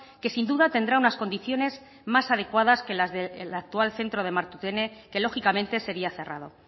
que sin duda tendrá unas condiciones más adecuadas que las del actual centro de martutene que lógicamente seria cerrado